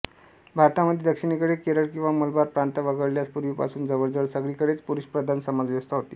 भारतामध्ये दक्षिणेकडे केरळ किंवा मलबार प्रांत वगळल्यास पूर्वीपासून जवळजवळ सगळीकडेच पुरुषप्रधान समाजव्यवस्था होती